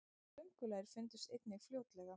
köngulær fundust einnig fljótlega